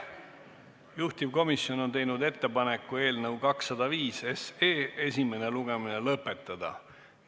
Juhtivkomisjon on teinud ettepaneku eelnõu 205 esimene lugemine lõpetada.